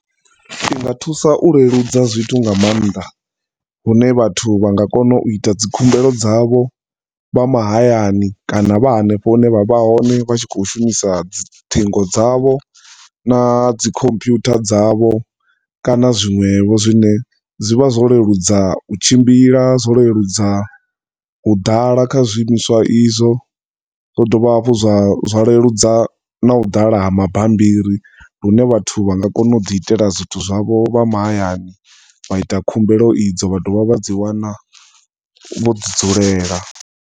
Zwinga thusa u leludza zwithu nga maanḓa lune vhathu vhanga kona u ita dzi khumbelo dzavho vha mahayani kana vha hanefho hune vha vha hone vhatshi kho shumisa ṱhingo dzavho na dzi computer dzavho kana zwinwevho zwine zwivha zwo leludza u tshimbila zwo leludza u ḓala kha zwi imiswa izwo hu dovha hafhu zwa zwa leludza na u ḓala ha mabambiri lune vhathu vhanga kona uḓi itela zwithu zwavho vha mahayani vha ita khumbelo idzo vhadovha vhadzi wana vho ḓi dzulela.